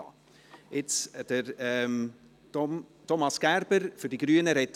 Nun spricht Thomas Gerber für die Grünen.